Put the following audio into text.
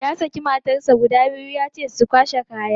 Ya saki matansa guda biyu ya ce musu su kwashe kaya.